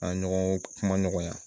An ɲɔgɔn kuma ɲɔgɔnya